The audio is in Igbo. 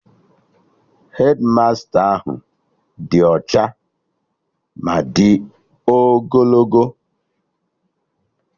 Hedmasta ahụ dị ọcha ma di ogologo